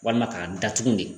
Walima k'a datugu de